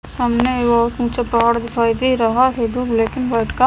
सामने जो पहाड़ दिखाई दे रहा है जो ब्लैक एंड वाइट का--